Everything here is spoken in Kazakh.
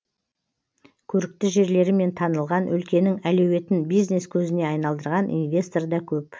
көрікті жерлерімен танылған өлкенің әлеуетін бизнес көзіне айналдырған инвестор да көп